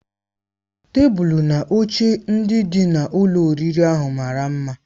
Tebụl na oche ndị dị na ụlọ oriri ahụ mara mma.